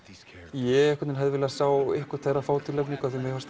ég hefði viljað sjá einhvern þeirra fá tilnefningar mér fannst